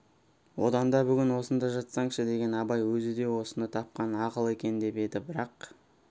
одан да бүгін осында жатсаңшы деген абай өзі де осыны тапқан ақыл екен деп еді бірақ